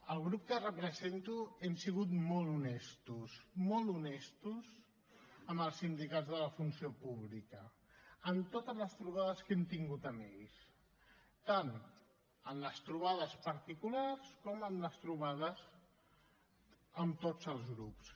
el grup que represento hem sigut molt honestos molt honestos amb els sindicats de la funció pública en totes les trobades que hem tingut amb ells tant en les trobades particulars com en les trobades amb tots els grups